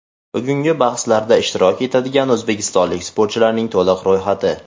Bugungi bahslarda ishtirok etadigan o‘zbekistonlik sportchilarning to‘liq ro‘yxati.